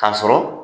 K'a sɔrɔ